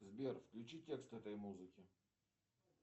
сбер включи текст этой музыки